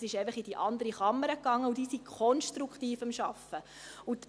es ist einfach in die andere Kammer gegangen, und diese ist konstruktiv an der Arbeit.